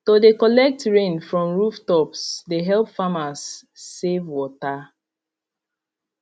to de collect rain from rooftops de help farmers save water